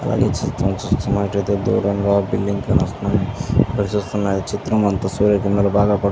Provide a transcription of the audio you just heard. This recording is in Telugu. ఈ చిత్రం చూచినట్టయితే దూరంగా ఒక బిల్డింగ్ కానవస్తుంది ఇక్కడ చూస్తున్న ఈ చిత్రం అంతా సూర్య కిరణాలు బాగా పడుతునాయి.